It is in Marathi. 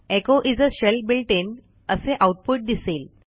echo is a shell built in असे आऊटपुट दिसेल